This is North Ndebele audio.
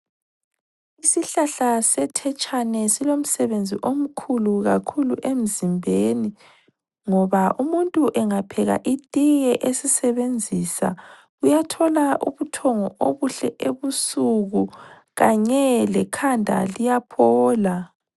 Isihlahla sethetshane silomsebenzi omkhulu kakhulu emzimbeni, ngoba umuntu engapheka itiye esisebenzisa uyathola ubuthongo obuhle ebusuku, kanye lekhanda liyaphola.